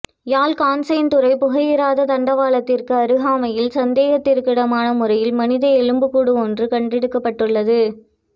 யாழ் காங்கேசன்துறை புகையிரத தண்டவாளத்திற்கு அருகாமையில் சந்தேகத்திற்கிடமானமுறையில் மனித எலும்புக்கூடு ஒன்று கண்டெடுக்கப்பட்டுள்ளது